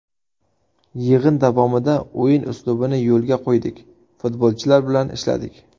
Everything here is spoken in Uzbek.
Yig‘in davomida o‘yin uslubini yo‘lga qo‘ydik, futbolchilar bilan ishladik.